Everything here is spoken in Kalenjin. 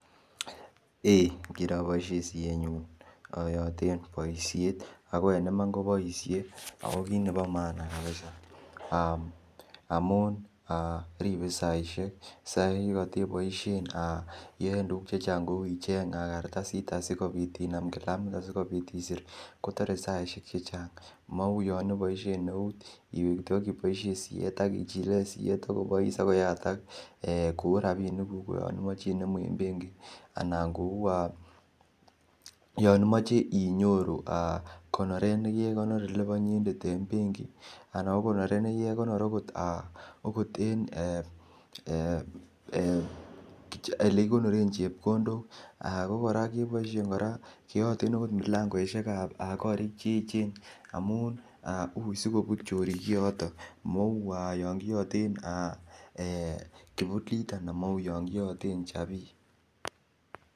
Eeh, kiraboisien siyenyun ayoten boisiet. Ago en iman ko boisie. Ago kit nebo maana kapisa, aa amun ripe saisiek. Sait ne koteboisien iyoen tuguk che chang kou icheng kartasit asikopit inam kalamit asigopit isir kotore saisiek che chang. Mau yon ibosien eut, iwe kityo ak iboisien siyet akkobois ak koyatak ee ku rapinik kuk ko yon imoche inemu en benki anan kou yon imoche inyoru konoret nekikekonor elebo inyendet en benki ana ko konorwet neki kekonor agot en olekikonoren chepkondok. Ko kora keboisien keyoten agot mulangosiekab korik che eechen amun ui sigobut chorik kioton mau yon kiyoten ee kipulit anan mau yon kiyoten chapii.